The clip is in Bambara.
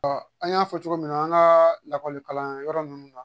an y'a fɔ cogo min na an ka lakɔlikalanyɔrɔ ninnu na